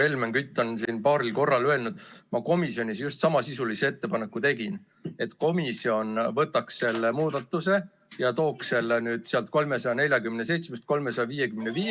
Helmen Kütt on siin paaril korral öelnud, et ma tegin komisjonis just samasisulise ettepaneku: selle, et komisjon tooks kõnealuse muudatusettepaneku eelnõust 347 eelnõusse 355.